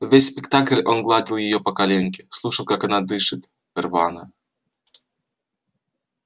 весь спектакль он гладил её по коленке слушал как она дышит рвано